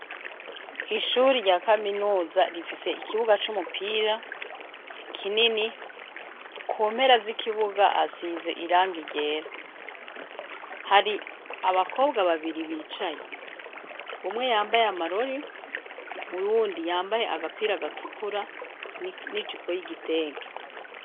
Ishure rya kaminuza rifise ikibuga c'umupira kinini kumpera z'ikibuga hasize irangi ryera, hari abakobwa babiri bicaye umwe yambaye amarori uyundi yambaye agapira gatukura n'ijipo y'igitenge.